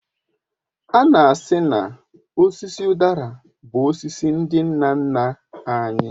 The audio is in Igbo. Ana asị na osisi udara bụ osisi ndị nna nna anyị